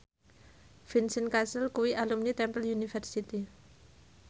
Vincent Cassel kuwi alumni Temple University